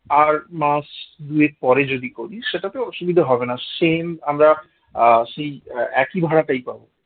আর মাস দুয়েক পরে যদি করি সেটাতে অসুবিধা হবে না same আমরা আহ সেই একই ভাড়াটাই পাবো।